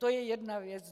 To je jedna věc.